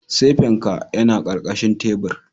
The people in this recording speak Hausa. Sefen ka yana karkashin tabir